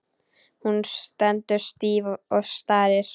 Hún stendur stíf og starir.